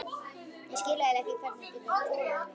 Ég skil eiginlega ekki hvernig þú getur þolað mig.